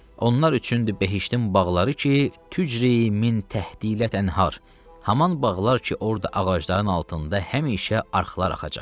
Onlar üçündür behiştin bağları ki, tücri min təhtilə tənhar, haman bağlar ki, orada ağacların altında həmişə arxlar axacaq.